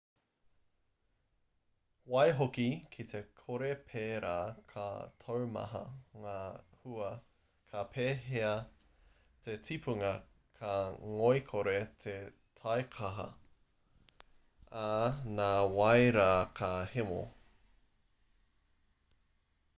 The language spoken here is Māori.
waihoki ki te kore pērā ka taumaha ngā hua ka pēhia te tipunga ka ngoikore te taikaha ā nā wai rā ka hemo